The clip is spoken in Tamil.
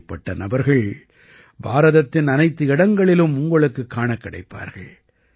இப்படிப்பட்ட நபர்கள் பாரதத்தின் அனைத்து இடங்களிலும் உங்களுக்குக் காணக் கிடைப்பார்கள்